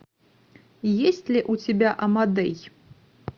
есть ли у тебя амадей